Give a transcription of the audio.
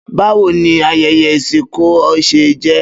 Bawo ni ayẹyẹ isọkọ ṣe jẹ?